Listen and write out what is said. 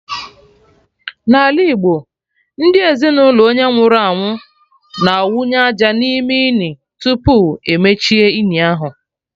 N'ala Igbo, ndị ezinụlọ onye nwụrụ anwụ na/awụ aja n'ime ini, tupu emechie ini ahụ